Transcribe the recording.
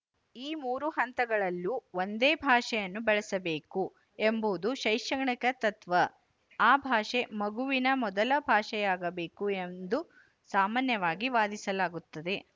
ಈ ಮೂರು ಹಂತಗಳಲ್ಲೂ ಒಂದೇ ಭಾಷೆಯನ್ನು ಬಳಸಬೇಕು ಎಂಬುದು ಶೈಕ್ಷಣಿಕ ತತ್ತ್ವ ಆ ಭಾಷೆ ಮಗುವಿನ ಮೊದಲ ಭಾಷೆಯಾಗಬೇಕು ಎಂದು ಸಾಮಾನ್ಯವಾಗಿ ವಾದಿಸಲಾಗುತ್ತದೆ